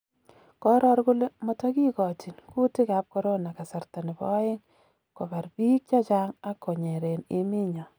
Kooror kole motongigochin kuutik ab corona kasrta nebo oeng' kobra biik chechang' ak konyeren emenyon.